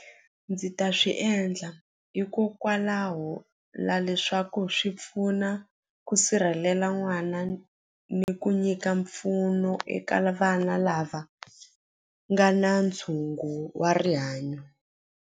Ndzi ta swi endla hikokwalaho la leswaku swi pfuna ku sirhelela n'wana ni ku nyika mpfuno eka vana lava nga na ntshungu wa rihanyo.